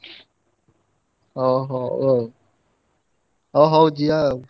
ଓହୋ, ହଉ। ଅ ହଉ ଯିବା ଆଉ।